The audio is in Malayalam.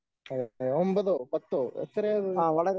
ഓക്കേ ഒമ്പതോ പത്തോ എത്രയാ അത്?